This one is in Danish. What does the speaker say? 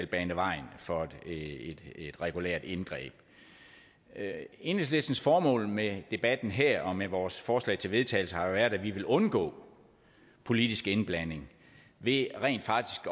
bane vejen for et regulært indgreb enhedslistens formål med debatten her og med vores forslag til vedtagelse har jo været at vi ville undgå politisk indblanding ved rent faktisk